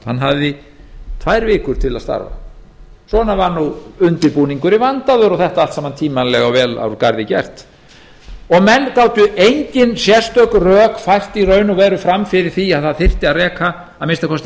starfshópurinn hafði tvær vikur til að starfa svona var undirbúningurinn vandaður og þetta allt saman tímanlega og vel úr garði gert menn gátu í raun og veru engin sérstök rök fært fram fyrir því að það þyrfti að reka að minnsta kosti